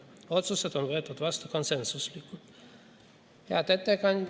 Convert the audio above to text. Otsused on võetud vastu konsensuslikult.